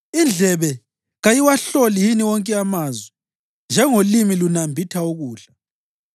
Indlebe kayiwahloli yini wonke amazwi njengolimi lunambitha ukudla?